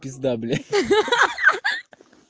пизда бля ха-ха